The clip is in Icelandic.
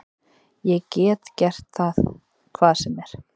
Ég get gert það hvar sem er.